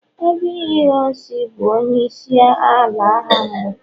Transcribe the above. Aguiyi ironsi bu onye isi ala agha mbu